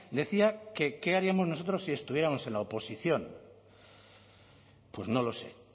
decía que qué haríamos nosotros si estuviéramos en la oposición pues no lo sé